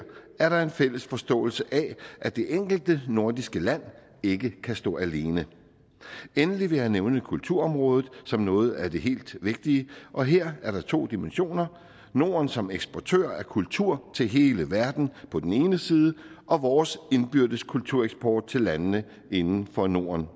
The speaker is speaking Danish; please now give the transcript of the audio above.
er der en fælles forståelse af at det enkelte nordiske land ikke kan stå alene endelig vil jeg nævne kulturområdet som noget af det helt vigtige og her er der to dimensioner norden som eksportør af kultur til hele verden på den ene side og vores indbyrdes kultureksport til landene inden for norden